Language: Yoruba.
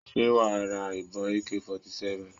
Ṣé wà á sra ìbọn AK 47?